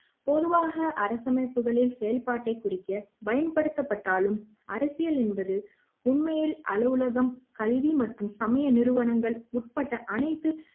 பொதுவாக அரசமைப்புகளில் செயல்பாட்டை குறிக்க பயன்படுத்தப்பட்டாலும் அரசியல் என்பது உண்மையில் அலுவலகம் கல்வி மற்றும் சமய நிறுவனங்கள் உட்பட்ட அனைத்து